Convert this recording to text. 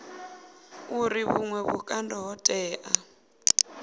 uri vhuṅwe vhukando ho tea